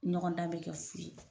Ɲɔgɔndan be kɛ fur